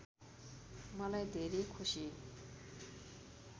मलाई धेरै खुसी